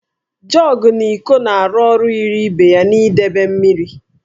Jọgụ na íkó na-arụ ọrụ yiri ibe ya n'idebe mmiri